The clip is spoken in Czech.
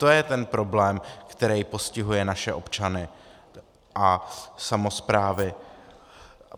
To je ten problém, který postihuje naše občany a samosprávy.